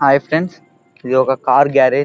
Hi friends ఇది ఒక car garage .